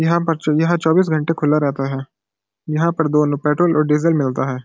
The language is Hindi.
यहाँ पर यहां चौबीस घंटे खुला रहता है यहाँ पर दोनों पेट्रोल और डीजल मिलता है।